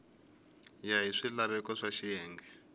ya hi swilaveko swa xiyenge